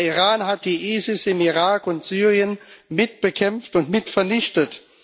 Der Iran hat den IS im Irak und Syrien mit bekämpft und mit vernichtet.